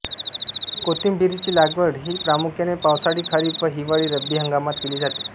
कोथिंबीरीची लागवड ही प्रामुख्यारने पावसाळी खरीप व हिवाळी रब्बी हंगामात केली जाते